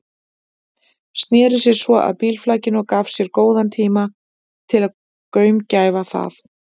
Sneri sér svo að bílflakinu og gaf sér góðan tíma til að gaumgæfa það.